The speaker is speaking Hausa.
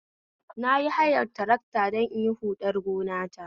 Nayi hayar tarakta don inyi huɗar gonata